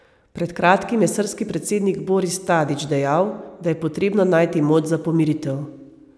Pred kratkim je srbski predsednik Boris Tadič dejal, da je potrebno najti moč za pomiritev.